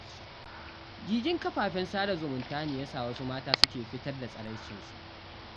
Gigin kafafen sada zumunta ne ya sa wasu mata ke fitar da tsaraicinsu.